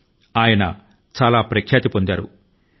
ఆయన జీవితం లో మనం తెలుసుకోవలసిన మరో గొప్ప కోణం కూడా ఉంది